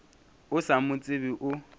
o sa mo tsebe o